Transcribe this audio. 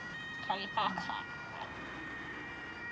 FYRST TIL BAKA.